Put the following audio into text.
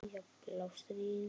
Jafnvel Ástríði og